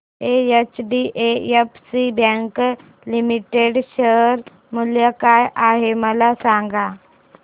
HDFC bank limited share मूल्य काय आहे मला सांगा